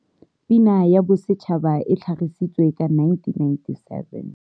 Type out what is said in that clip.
Pina ya Bosetšhaba e tlhagisi tswe ka 1997.